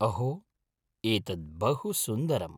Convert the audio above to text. अहो! एतत् बहुसुन्दरम्।